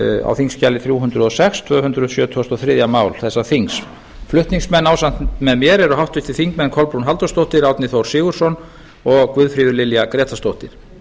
á þingskjali þrjú hundruð og sex tvö hundruð sjötugasta og þriðja mál þessa þings flutningsmenn ásamt með mér eru háttvirtir þingmenn kolbrún halldórsdóttir árni þór sigurðsson og guðfríður lilja grétarsdóttir